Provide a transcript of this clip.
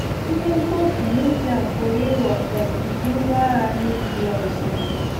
Ihe mkpofu núklia pụrụ ịghọ um ụdị ngwá agha nuklia ọzọ.